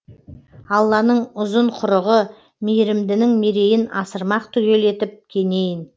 алланың ұзын құрығы мейірімдінің мерейін асырмақ түгел етіп кенейін